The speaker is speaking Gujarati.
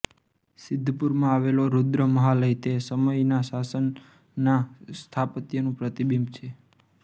સિદ્ધપુરમાં આવેલો રુદ્ર મહાલય તે સમયના શાસનના સ્થાપત્યનું પ્રતિબિંબ છે